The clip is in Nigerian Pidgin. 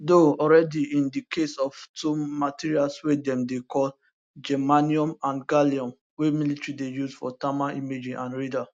do already in di case of two materials wey dem dey call germanium and gallium wey military dey use for thermal imaging and radar